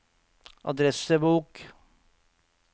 adressebok